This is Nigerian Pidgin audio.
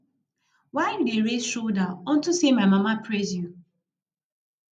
why you dey raise your shoulders unto say my mama praise you